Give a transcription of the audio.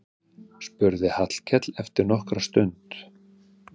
spurði Hallkell eftir nokkra stund.